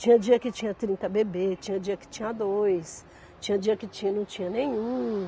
Tinha dia que tinha trinta bebês, tinha dia que tinha dois, tinha dia que tinha não tinha nenhum.